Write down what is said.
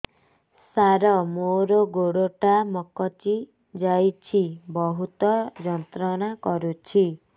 ସାର ମୋର ଗୋଡ ଟା ମଛକି ଯାଇଛି ବହୁତ ଯନ୍ତ୍ରଣା କରୁଛି